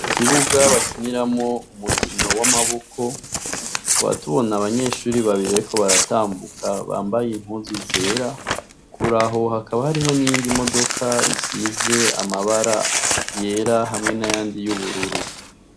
Ikibuga bakiniramwo umukino w'amaboko, tukaba tubona abanyeshure babiri bariko baratambuka, bambaye impuzu zera, kure aho hakaba hariho n'iyindi modoka isize amabara yera hamwe n'ayandi y'ubururu.